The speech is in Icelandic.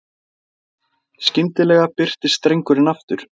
Skyndilega birtist drengurinn aftur.